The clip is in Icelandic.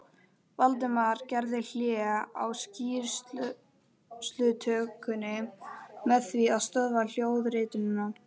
Valdimar gerði hlé á skýrslutökunni með því að stöðva hljóðritunina.